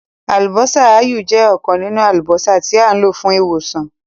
“Àlùbọ́sà ááyù” jẹ́ ọ̀kan nínú àlùbọ́sà tí à ń lò fún ìwòsàn.